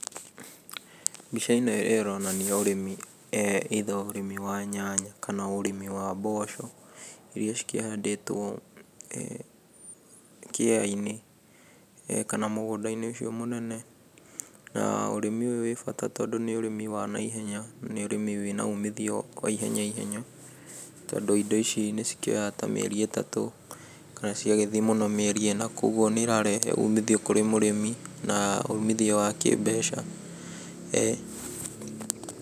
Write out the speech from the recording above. Mbica ĩyo ĩronania ũrĩmi either ũrĩmi wa nyanya kana ũrĩmi wa mboco iria cikĩhandĩtwo kĩeya-inĩ kana mũgũnda-inĩ ũcio mũnene. Na ũrĩmi ũyũ nĩ ũrĩ bata, tondũ nĩ ũrĩmi wa naihenya, nĩ ũrĩmi ũrĩ na ũmithio wa ihenya ihenya, tondũ indo ici nĩcikĩoyaga ta mĩeri ĩtatũ kana ciagĩthie mũno mĩeri ĩna, koguo nĩirarehe umithio kũrĩ mũrĩmi na umithio wa kĩmbeca.